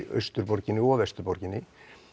austurborginni og vesturborginni